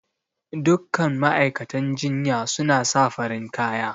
Duk kan ma'aikatan jinya suna sa farin kaya